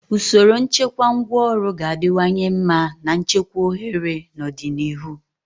Usoro nchekwa ngwaọrụ ga-adịwanye mma na nchekwa ohere na ọdịnihu.